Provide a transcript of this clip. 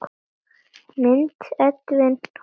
Mynd: Edwin Roald.